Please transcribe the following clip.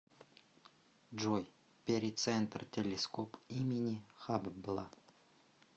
джой перицентр телескоп имени хаббла